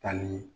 Tali